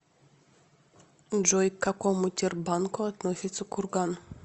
джой к какому тербанку относится курган